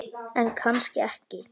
En kannski ekki.